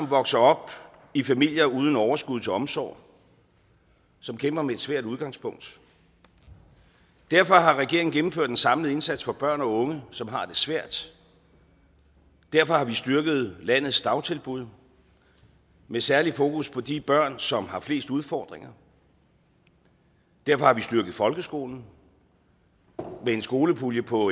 vokser op i familier uden overskud til omsorg og som kæmper med et svært udgangspunkt derfor har regeringen gennemført en samlet indsats for børn og unge som har det svært derfor har vi styrket landets dagtilbud med særlig fokus på de børn som har flest udfordringer derfor har vi styrket folkeskolen med en skolepulje på